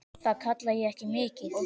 Það kalla ég ekki mikið.